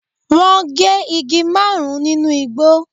Wọ́n gé igi márùn-ún nínú igbó.